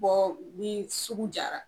ni sugu jara